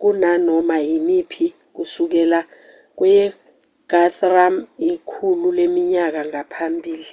kunanoma imiphi kusukela kweyeguthrum ikhulu leminyaka ngaphambili